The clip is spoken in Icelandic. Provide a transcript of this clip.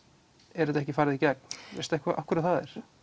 er þetta ekki farið í gegn veistu eitthvað af hverju það er